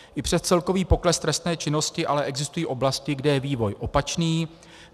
I přes celkový pokles trestné činnosti ale existují oblasti, kde je vývoj opačný.